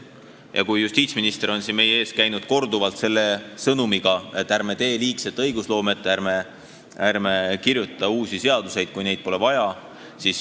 Justiitsminister on siin meie ees korduvalt käinud selle sõnumiga, et ärme tegeleme liigse õigusloomega, ärme kirjutame uusi seaduseid, kui neid vaja pole.